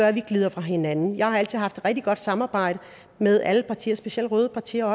at vi glider fra hinanden jeg har altid haft et rigtig godt samarbejde med alle partier specielt røde partier